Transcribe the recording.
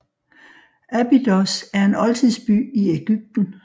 Abydos er en oldtidsby i Egypten